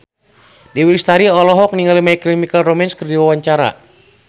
Dewi Lestari olohok ningali My Chemical Romance keur diwawancara